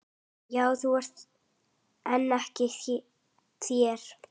Já þú en ekki þér!